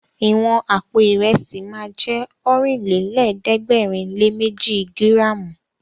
Ìwọ̀n àpò Ìrẹ́sì ma jẹ́ Ọ̀rìnlélẹ̀ẹ́dẹ́gbèrinléméji gíràmù